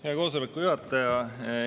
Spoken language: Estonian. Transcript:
Hea koosoleku juhataja!